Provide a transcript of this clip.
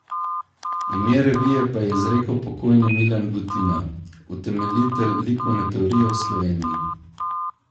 Ime revije pa je izrekel pokojni Milan Butina, utemeljitelj likovne teorije v Sloveniji.